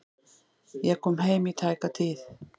Ég kom heim í tæka tíð.